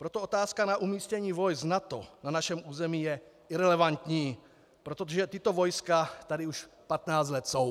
Proto otázka na umístění vojsk NATO na našem území je irelevantní, protože tato vojska tady už 15 let jsou.